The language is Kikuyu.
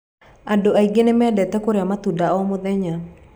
Andũ aingĩ nĩ mendete kũrĩa matunda o mũthenya.